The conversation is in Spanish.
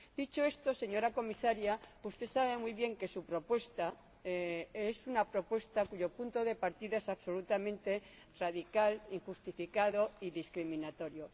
Dicho esto, señora Comisaria, usted sabe muy bien que su propuesta es una propuesta cuyo punto de partida es absolutamente radical, injustificado y discriminatorio.